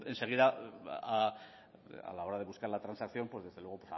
seguida a la hora de buscar la transacción pues desde luego